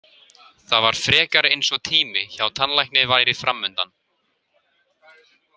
Það var frekar eins og tími hjá tannlækni væri framundan.